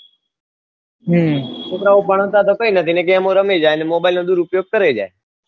છોકરા ભણાતાતો કઈ નથી ગેમો રમેં જાયે mobile નો દુરુઉપયોગ કરે જાય